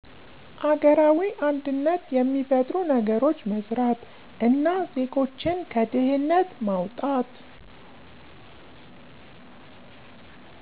አገራዊ አንድነት የሚፈጥሩ ነገሮች መስራት እና ዜጎችን ከድህነት ማዉጣት